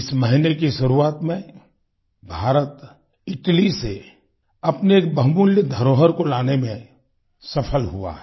इस महीने की शुरुआत में भारत इटली से अपनी एक बहुमूल्य धरोहर को लाने में सफल हुआ है